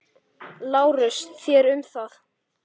LÁRUS: Þér um það.